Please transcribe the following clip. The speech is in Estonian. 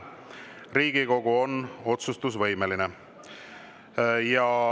Riigikogu on otsustusvõimeline.